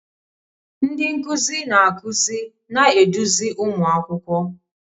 Ndị nkuzi na-akụzi na-eduzi ụmụ akwụkwọ.